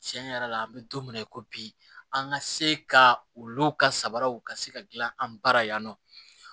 Tiɲɛ yɛrɛ la an bɛ don min na i ko bi an ka se ka olu ka sabaraw ka se ka dilan an bara yan nɔ